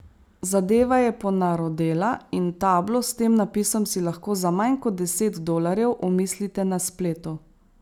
Zadeva je ponarodela in tablo s tem napisom si lahko za manj kot deset dolarjev omislite na spletu.